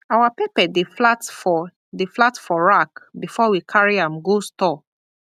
our pepper dey flat for dey flat for rack before we carry am go store